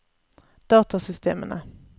datasystemene